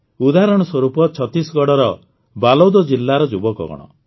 ଉଦାହରଣ ସ୍ୱରୂପ ଛତିଶଗଡ଼ର ବାଲୋଦ ଜିଲାର ଯୁବକଗଣ